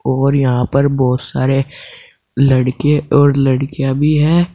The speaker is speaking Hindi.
और यहां पर बहुत सारे लड़कें और लड़कियाँ भी हैं।